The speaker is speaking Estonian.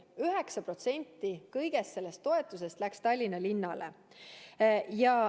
9% kõigest sellest toetusest läks Tallinna linnale.